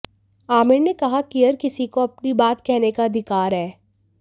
आमिर ने कहा किहर किसी को अपनी बात कहने का अधिकार है